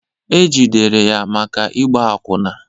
E jidere ya maka ịgba akwụna